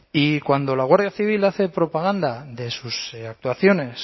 y cuando la guardia civil hace propaganda de sus actuaciones